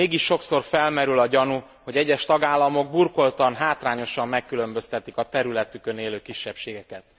Mégis sokszor felmerül a gyanú, hogy egyes tagállamok burkoltan, hátrányosan megkülönböztetik a területükön élő kisebbségeket.